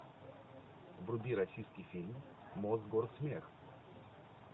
вруби российский фильм мосгорсмех